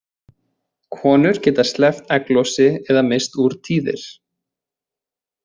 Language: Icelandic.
Konur geta sleppt egglosi eða misst úr tíðir.